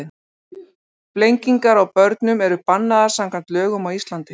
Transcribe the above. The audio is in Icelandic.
Flengingar á börnum eru bannaðar samkvæmt lögum á Íslandi.